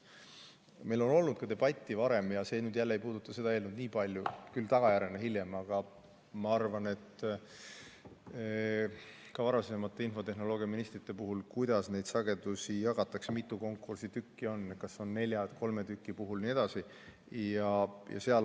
Meil on olnud debatti ka varem – see nüüd ei puuduta seda eelnõu nii palju, küll tagajärjena, hiljem –, aga ka varasemate infotehnoloogiaministrite ajal on arutatud, kuidas neid sagedusi jagatakse, mitu konkursi tükki on, kas see on nelja või kolme tüki puhul jne.